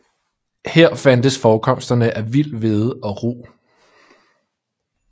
Her fandtes forekomsterne af vild hvede og rug